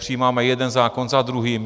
Přijímáme jeden zákon za druhým.